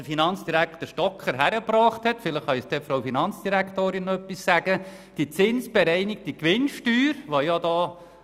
Finanzdirektor Stocker hat die zinsbereinigte Gewinnsteuer erreicht.